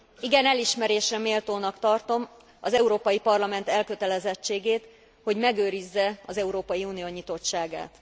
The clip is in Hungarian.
Igen elismerésre méltónak tartom az Európai Parlament elkötelezettségét, hogy megőrizze az Európai Unió nyitottságát.